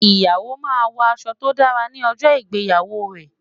Ìyàwó máa ń wọ aṣọ tó dára ní ọjọ́ ìgbéyàwó rẹ̀.